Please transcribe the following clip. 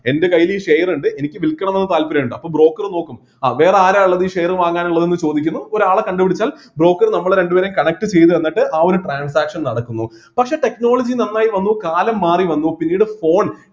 എൻ്റെ കൈയില് ഈ share ഇണ്ട് എനിക്ക് വിൽക്കണമെന്ന് താൽപര്യം ഉണ്ട് അപ്പൊ broker നോക്കും അ വേറെ ആരാ ഉള്ളത് ഈ share വാങ്ങാനുള്ളത് എന്ന് ചോദിക്കുന്നു ഒരാളെ കണ്ടുപിടിച്ചാൽ broker നമ്മളെ രണ്ടുപേരെയും connect ചെയ്തുതന്നിട്ട് ആ ഒരു transaction നടക്കുന്നു പക്ഷെ technology നന്നായി വന്നു കാലം മാറി വന്നു പിന്നീട് phone